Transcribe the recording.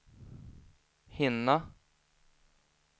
hinna